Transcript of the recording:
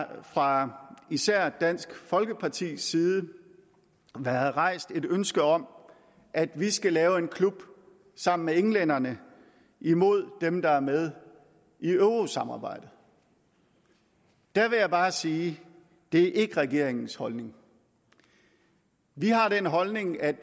har fra især dansk folkepartis side været rejst et ønske om at vi skal lave en klub sammen med englænderne imod dem der er med i eurosamarbejdet der vil jeg bare sige at det ikke er regeringens holdning vi har den holdning at